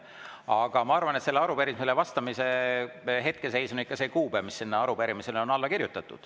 Aga ma arvan, et arupärimisele vastamise seis on ikka see kuupäev, mis sinna arupärimisele on kirjutatud.